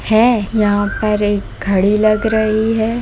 है यहां पर एक घड़ी लग रही है।